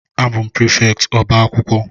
A bụ m prịfèktị ọbá akwụkwọ